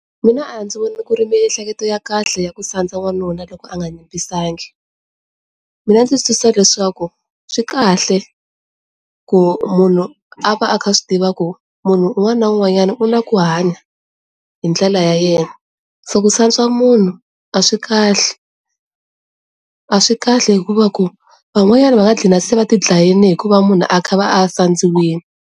Mina a ndzi vona ku ri miehleketo ya kahle ya ku sandza wanuna loko a nga yimbisangi mina ndzi twisisa leswaku swi kahle ku munhu a va a kha a swi tivaka ku munhu un'wana na un'wanyana u na ku hanya hi ndlela ya yena so ku sandza munhu a swi kahle a swi kahle hikuva ku van'wanyana va nga qina se va ri dlayini hikuva munhu a kha a va a sadziwile.